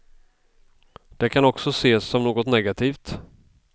Det kan också ses som något negativt.